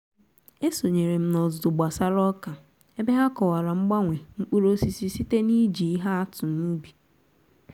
e sonyeere m n'ọzụzụ gbasara ọka ebe ha kọwara mgbanwe mkpụrụ osisi site n'iji ihe atụ n'ubi